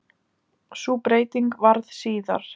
Sú breyting varð síðar.